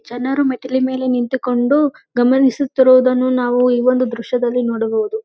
ಜನರು ಮೆಟ್ಟಿಲು ಮೇಲೆ ನಿಂತುಕೊಂಡು ಗಮನಿಸುತ್ತಿರುವುದನ್ನು ನಾವು ಈ ಒಂದು ದೃಶ್ಯದಲ್ಲಿ ನೋಡಬಹುದು.